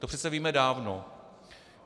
To přece víme dávno.